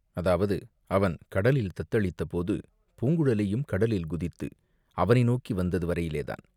அதாவது, அவன் கடலில் தத்தளித்தபோது பூங்குழலியும் கடலில் குதித்து அவனை நோக்கி வந்தது வரையிலேதான்.